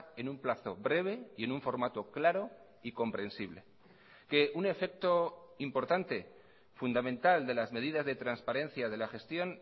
en un plazo breve y en un formato claro y comprensible que un efecto importante fundamental de las medidas de transparencia de la gestión